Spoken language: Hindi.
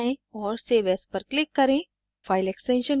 file पर जाएँ और save as पर click करें